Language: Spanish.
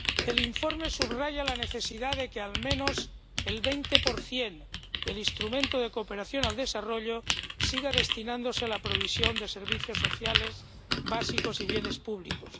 El informe subraya la necesidad de que al menos el 20 del Instrumento de Cooperación al Desarrollo siga destinándose a la provisión de servicios sociales básicos y bienes públicos.